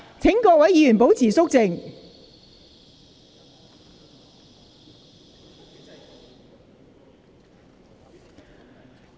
請各位議員保持肅靜。